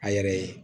A yɛrɛ ye